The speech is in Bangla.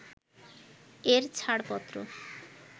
এর ছাড়পত্র